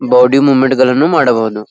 Body movement ಗಳನ್ನು ಮಾಡಬಹುದು .